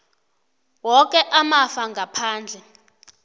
woke amafa ngaphandle